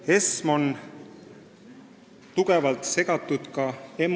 ESM on ka EMU tulevikuarutelude tähtis teema.